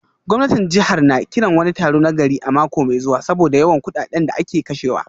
Gwamnatin jihar na kiran wani taro na gari a mako mai zuwa saboda yawan kudaden da ake kashewa